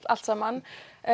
allt saman